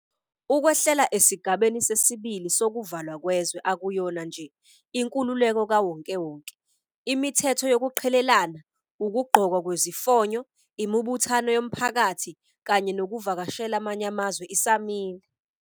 Ukwehlela esigabeni sesi-2 sokuvalwa kwezwe akuyona nje 'inkululeko kawonkewonke.' Imithetho yokuqhelelana, ukugqokwa kwezifonyo, imibuthano yomphakathi kanye nokuvakashela amanye amazwe isamile.